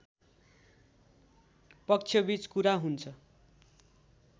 पक्ष बीच कुरा हुन्छ